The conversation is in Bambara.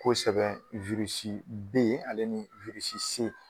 Ni b'o sɛbɛn wirisi B ale ni wirisi C.